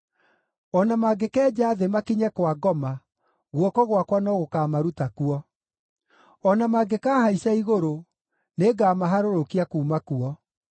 O na mangĩkenja thĩ makinye kwa ngoma, guoko gwakwa no gũkaamaruta kuo. O na mangĩkaahaica igũrũ, nĩngamaharũrũkia kuuma kuo.